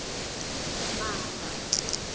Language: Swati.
mamba